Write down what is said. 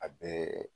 A bɛɛ